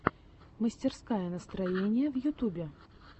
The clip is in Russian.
мастерская настроения в ютубе